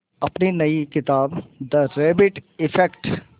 अपनी नई किताब द रैबिट इफ़ेक्ट